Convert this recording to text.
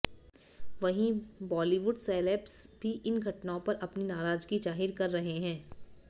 वहीं बॉलीवुड सेलेब्स भी इन घटनाओं पर अपनी नाराजगी जाहिर कर रहे हैं